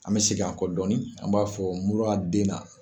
An bɛ segin an kɔ dɔɔnin an b'a fɔ muru den na.